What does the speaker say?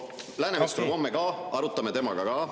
" Läänemets tuleb homme, arutame seda ka temaga.